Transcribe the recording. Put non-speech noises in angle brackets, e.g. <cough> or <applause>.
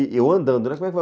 E eu andando, né, <unintelligible>